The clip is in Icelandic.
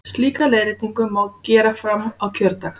Slíka leiðréttingu má gera fram á kjördag.